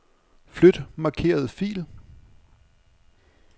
Flyt markerede fil.